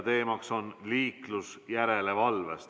Teemaks on liiklusjärelevalve.